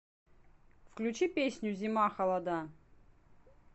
включи песню зима холода